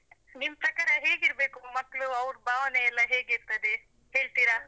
ನಿಮ್ ಪ್ರಕಾರ ಹೇಗಿರ್ಬೇಕು ಮಕ್ಕಳು, ಅವ್ರ್ ಭಾವನೆಯೆಲ್ಲ ಹೇಗಿರ್ತದೆ? ಹೇಳ್ತೀರಾ?